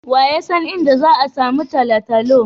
Wa ya san inda za'a samu Talatalo.